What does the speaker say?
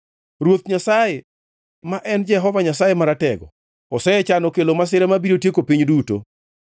Ruoth Nyasaye, ma en Jehova Nyasaye Maratego, osechano kelo masira mabiro tieko piny duto.